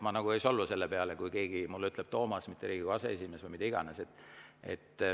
Ma ei solvu selle peale, kui keegi ütleb mulle Toomas, mitte Riigikogu aseesimees või mida iganes.